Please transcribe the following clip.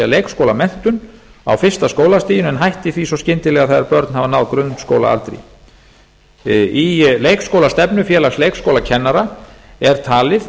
er leikskólamenntun á fyrsta skólastiginu en hætti því svo skyndilega þegar börn hafa náð grunnskólaaldri í leikskólastefnu félags leikskólakennara er talið